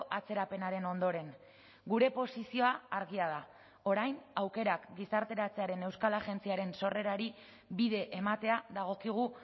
atzerapenaren ondoren gure posizioa argia da orain aukerak gizarteratzearen euskal agentziaren sorrerari bide ematea dagokigu